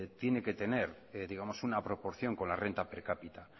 tiene que tener digamos una proporción con la renta per capita